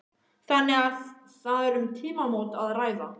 Þannig að það er um tímamót að ræða?